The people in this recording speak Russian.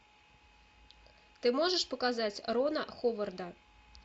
ты можешь показать рона ховарда